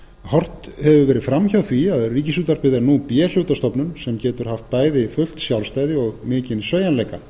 horft hefur verið fram hjá því að ríkisútvarpið er nú b hlutastofnun sem getur haft bæði fullt sjálfstæði og mikinn sveigjanleika